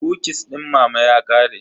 Kukis din mama ya ƙare.